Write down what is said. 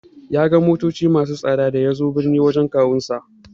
Ya ga motoci masu tsada da yazo birni wajen kawunsa.